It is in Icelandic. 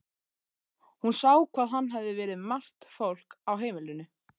Hún sá hvað hafði verið margt fólk á heimilinu.